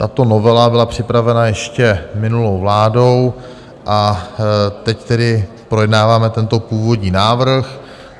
Tato novela byla připravena ještě minulou vládou a teď tedy projednáváme tento původní návrh.